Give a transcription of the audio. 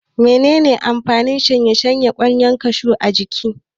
Mene ne amfanin gasashshen kwallon kashu a jiki?